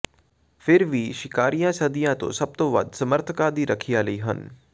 ਫਿਰ ਵੀ ਸ਼ਿਕਾਰੀਆਂ ਸਦੀਆਂ ਤੋਂ ਸਭ ਤੋਂ ਵੱਧ ਸਮਰਥਕਾਂ ਦੀ ਰੱਖਿਆ ਲਈ ਹਨ